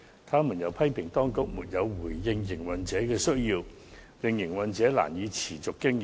他們又批評當局沒有回應營運者的需要，令營運者難以持續經營。